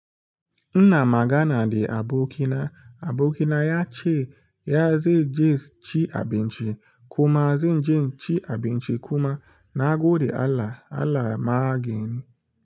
Ina magana da abokina, abokina ya ce ya zai je ci abinci kuma zai je ci abinci kuma na gode Allah, Allah magani.